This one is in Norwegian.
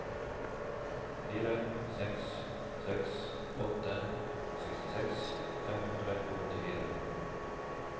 fire seks seks åtte sekstiseks fem hundre og åttifire